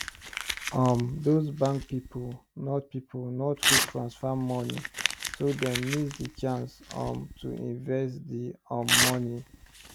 um those bank pipu not pipu not quick transfer money so them miss the chance um to invest the um money